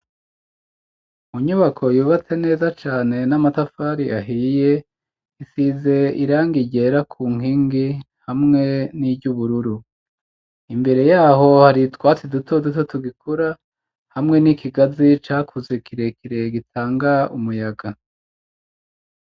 Mu nyubako yubatse neza cane n'amatafari ahiye isize irangigera ku nkingi hamwe n'iryubururu, imbere yaho hari utwatsi duto duto tugikura hamwe n'ikigazi cakuze kirekire gitanga umuyaga.